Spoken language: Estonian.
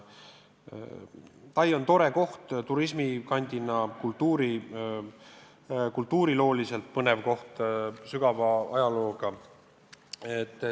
Tai on tore koht turismikandina, kultuurilooliselt põnev koht, sügava ajalooga.